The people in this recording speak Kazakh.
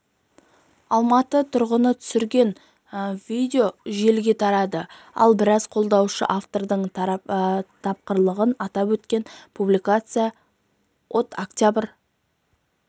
алматы тұрғыны түсірген видео желіге тарады ал біраз қолданушы автордың тапқырлығын атап өткен публикация от окт